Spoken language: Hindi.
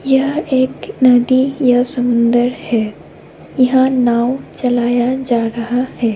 यह एक नदी या समुन्दर है। यहाँ नाव चलाया जा रहा है।